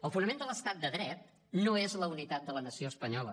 el fonament de l’estat de dret no és la unitat de la nació espanyola